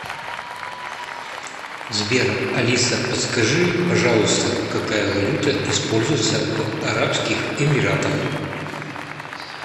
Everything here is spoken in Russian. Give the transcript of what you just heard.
сбер алиса подскажи пожалуйста какая валюта используется в арабских эмиратах